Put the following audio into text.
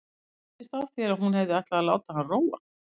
Mér skildist á þér að hún hefði ætlað að láta hann róa.